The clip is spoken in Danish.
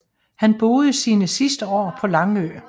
Han boede sine sidste år på Langø